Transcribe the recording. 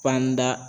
Panda